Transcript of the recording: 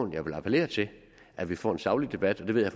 jeg vil appellere til at vi får en saglig debat og det ved